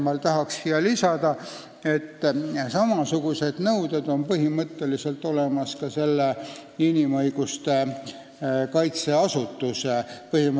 Ma tahaks lisada, et samasugused nõuded on põhimõtteliselt olemas ka inimõiguste kaitse asutuse kohta.